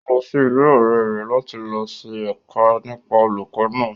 Ó lọ sí ilé ọ̀rẹ rẹ̀ láti lọ ṣe èké nípa olùkó náà